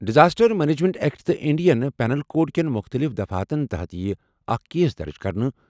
Disaster management act تہٕ Indian penal code کٮ۪ن مُختٔلِف دفعاتَن تحت یِیہِ اکھ کیس درٕج کرنہٕ۔